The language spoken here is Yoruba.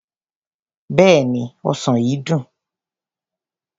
Bẹ́ẹ̀ni, ọsàn yìí dùn.